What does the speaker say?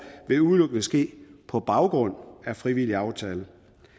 vil udelukkende ske på baggrund af frivillig aftale